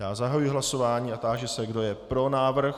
Já zahajuji hlasování a táži se, kdo je pro návrh.